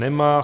Nemá.